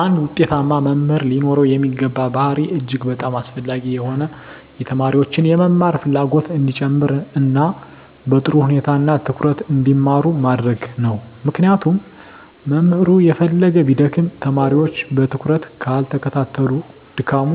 አንድ ውጤታማ መምህር ሊኖረው የሚገባ ባሀሪ እጅግ በጣም አስፈላጊ የሆነው የተማሪዎችን የመማር ፍላጎት እንዲጨመር እና በጥሩ ሁኔታ እና ትኩረት እንዲማሩ ማድረግ ነው ምክንያቱም መምህሩ የፈለገ ቢደክም ተማሪወች በትኩረት ካልተከታተሉት ድካሙ